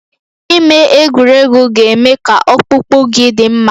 Ime egwuregwu ga-eme ka ọkpụkpụ gị dị mma